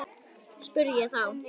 spurði ég þá.